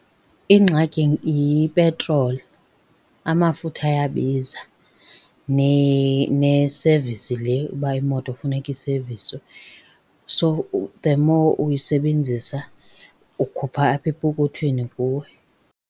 Ingxaki yipetroli, amafutha ayabiza nesevisi le uba imoto funeka iseviswe. So, the more uyisebenzisa ukhupha apha epokothweni kuwe.